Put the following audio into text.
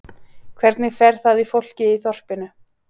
Hvernig fer það í fólkið í þorpinu?